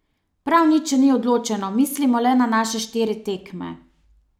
Prav nič še ni odločeno, mislimo le na naše štiri tekme.